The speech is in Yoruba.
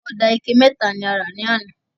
Oda ike meta la ra ni ana